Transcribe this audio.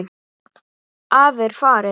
Afi er farinn.